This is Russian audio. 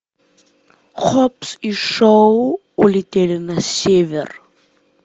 хоббс и шоу улетели на север